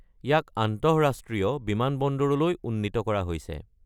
ইয়াক আন্তঃৰাষ্ট্ৰীয় বিমান বন্দৰলৈ উন্নীত কৰা হৈছে।